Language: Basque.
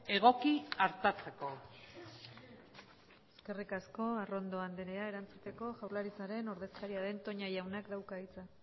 egoki artatzeko eskerrik asko arrondo andrea erantzuteko jaurlaritzaren ordezkaria den toña jaunak dauka hitza